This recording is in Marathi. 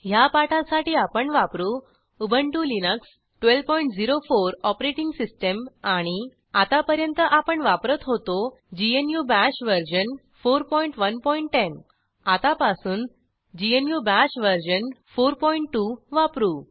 httpwwwspoken tutorialorg ह्या पाठासाठी आपण वापरू उबंटु लिनक्स 1204 ओएस आणि आतापर्यंत आपण वापरत होतो ग्नू बाश वर्जन 4110 आतापासून ग्नू बाश वर्जन 42 वापरू